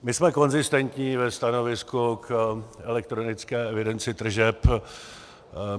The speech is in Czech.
My jsme konzistentní ve stanovisku k elektronické evidenci tržeb.